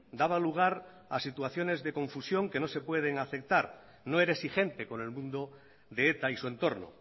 daba lugar a situaciones de confusión que no se pueden aceptar no era exigente con el mundo de eta y su entorno